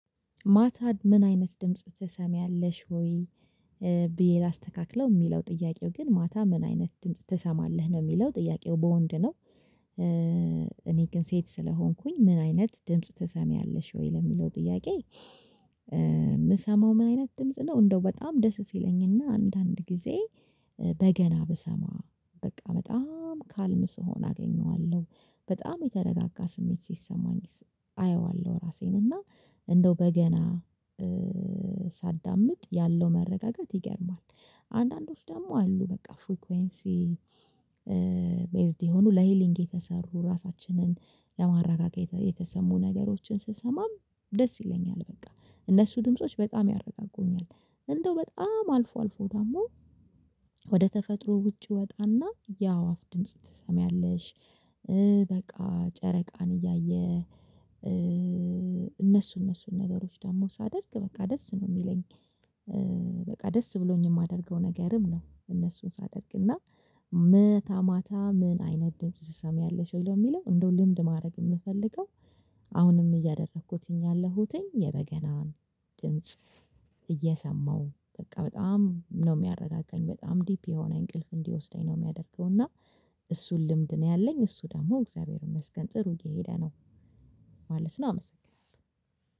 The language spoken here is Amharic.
ማታ ምን አይነት ድምጽ ትሰሚያለሽ ወይ? ብዬ ላስተካክለው የሚለው ጥያቄው ግን ማታ ምን አይነት ድምጽ ትሰማለህ ነው የሚለው ጥያቄው በወንድ ነው። እኔ ግን ሴት ስለሆንኩኝ ምን አይነት ድምጽ ተሰሚያለሽ ወይ ለሚለው ጥያቄ። ምሰማው ምን አይነት ድምጽ ነው። እንደው በጣም ደስ ሲለኝና አንዳንድ ጊዜ በገና ብሰማ በቃ በጣም ካልም ስሆን አገኘዋለሁ በጣም የተረጋጋ ስሜት ሲሰማኝ አየዋለሁ ራሴን እና እንደው በገና ሳዳምጥ ያለው መረጋጋት ይገርማል። አንዳንዶች ደግሞ አሉ በቃ ፍሪኮንሲ ሜይዝድ የሆኑ ለሂሊንግ የተሰሩ ራሳችንን ለማረጋገት የተሰሙ ነገሮችን ስሰማም ደስ ይለኛል በቃ እነሱ ድምጾች በጣም ያረጋጉኛል። እንደው በጣም አልፎ አልፎ ደግሞ ወደ ተፈጥሮ ውጪ ወጣና ያአዋፍ ድምጽ ትሰሚያለሽ? በቃ ጨረቃን እያየ እነሱ እነሱን ነገሮች ደግሞ ሳደርግ በቃ ደስ ነው የሚለኝ። በቃ ደስ ብሎኝ የማደርገው ነገርም ነው። እነሱን ሳደርግ እና መታ ማታ ምን አይነት ድምጽ ትሰሚያለሽ ወይ ለሚለው እንደው ልምድ ማድረግ የምፈልገው። አሁንም እያደረኩኝ ያለሁትኝ የበገናን ድምጽ እየሰማሁ በቃ በጣም ነው የሚያረጋጋኝ በጣም ዲፕ የሆነ እንቅልፍ እንዲወስደኝ ነው የሚያደርገው። እና እሱን ልምድ ነው ያለኝ እሱ ደግሞ እግዚአብሔር ይመስገን ጥሩ እየሄደ ነው። ማለት ነው አመሰግናለሁ።